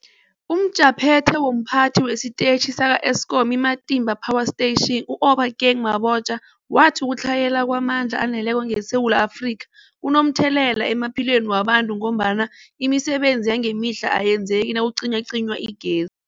UmJaphethe womPhathi wesiTetjhi sakwa-Eskom i-Matimba Power Station u-Obakeng Mabotja wathi ukutlhayela kwamandla aneleko ngeSewula Afrika kunomthelela emaphilweni wabantu ngombana imisebenzi yangemihla ayenzeki nakucinywacinywa igez